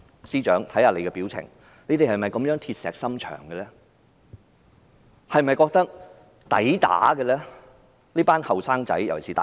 司長，看看你的表情，你們是否這麼鐵石心腸，是否覺得這些人該打？